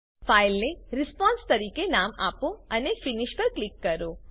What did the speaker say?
ફાઈલને રિસ્પોન્સ તરીકે નામ આપો અને ફિનિશ પર ક્લિક કરો